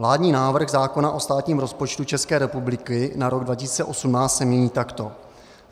Vládní návrh zákona o státním rozpočtu České republiky na rok 2018 se mění takto: